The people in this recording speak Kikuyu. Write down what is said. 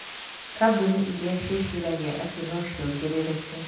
Kambuni iria ciĩciragia atĩ no ciongerereke.